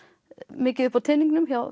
mikið upp á teningnum hjá